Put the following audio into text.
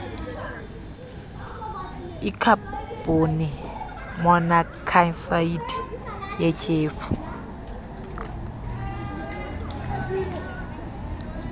ikhabhoni monokhsayidi yityhefu